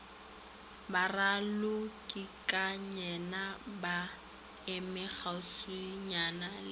baralokikayena ba eme kgauswinyana le